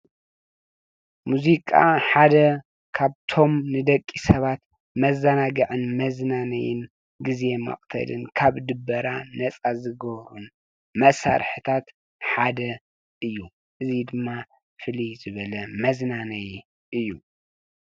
ሙዚቃ ሓደ ካብቶም ንደቂ ሰባት መዘናግዕን መዝናነይን ግዜ መቅተልን ካብ ድበራ ነፃ ዝገብሩን መሳርሕታት ሓደ እዩ። እዚ ድማ ፍለይ ዝበለ መዝናነይ እዩ።